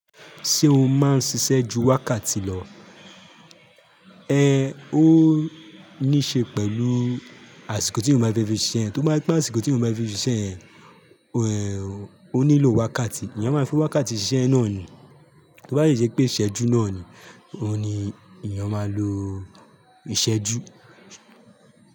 Ṣé o máa ń ṣiṣẹ́ ju wákàtí lọ? Ẹ ó níí ṣe pẹ̀lú àsìkò tí eyan ba fe fi ṣan. Tó bá pé àsìkò tí mo máa n fi ṣiṣẹ́ yẹn, ẹ̀, o nílò wákàtí. Èèyàn máa fi wákàtí ṣise náà ni. Tó bá si je pé ìṣẹ́jú náà ni, òun ni èèyàn máa lo ìṣẹ́jú.